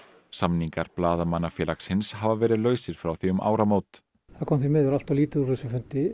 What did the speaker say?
samningar Blaðamannafélagsins hafa verið lausir frá því um áramót það kom því miður alltof lítið úr þessum fundi